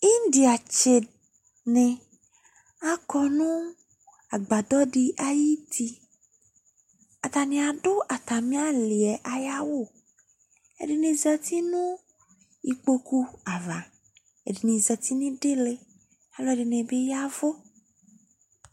Indiatsi ni akɔ nʋ agbadɔ di ayuti Atani adʋ atamialiɛ aya wʋ Edini zati nʋ igboku ava, edini zati nidili Aluɛdini bi y'avʋ